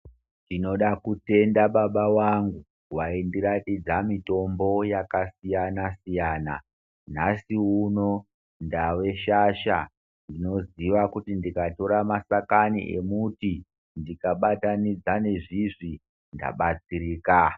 Tinoda kutenda baba vangu vaindiratidza mitombo yakasiyana siyana nhasi uno ndave shasha ndinoziva kuti ndikatora mashakani emuti ndikabatanidza nezvizvi ndabatsirika.